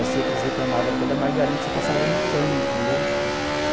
Parecia que eles reclamava até da margarina que você passava no pão, entendeu?